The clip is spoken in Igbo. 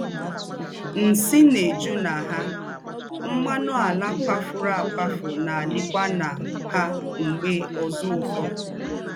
““ Nsì́ ná-èjúkwá na ha, m̀mánù àlà kwáfùrù àkwáfù ná-àdíkwá na ha m̀gbè ózụ̀fọ́. ”